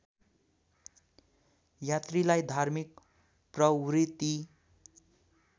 यात्रीलाई धार्मिक प्रवृत्ति